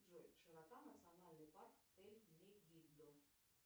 джой широта национальный парк тель мегиддо